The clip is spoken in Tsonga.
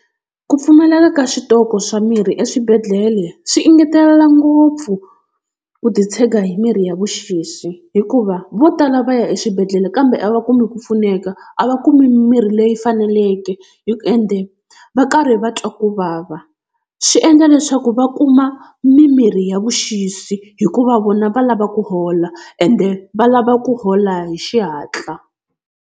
Ku pfumaleka ka switoko swa mirhi eswibedhlele swi engetela ngopfu ku titshega hi mirhi ya vuxisi, hikuva vo tala va ya eswibedhlele kambe a va kumi ku pfuneka a va kumi mirhi leyi faneleke ende va karhi va twa kuvava. Swi endla leswaku va kuma mimirhi ya vuxisi hikuva vona va lava ku hola ende va lava ku hola hi xihatla.